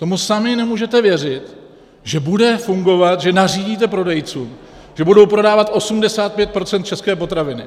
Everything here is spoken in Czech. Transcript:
Tomu sami nemůžete věřit, že bude fungovat, že nařídíte prodejcům, že budou prodávat 85 % české potraviny.